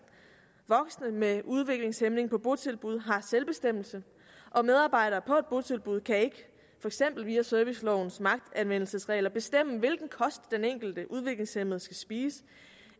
voksne med udviklingshæmning på botilbud har selvbestemmelse og medarbejdere på et botilbud kan ikke for eksempel via servicelovens magtanvendelsesregler bestemme hvilken kost den enkelte udviklingshæmmede skal spise